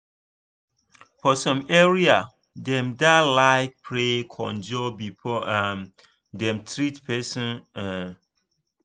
for some area dem da like pray conjur before um dem treat person um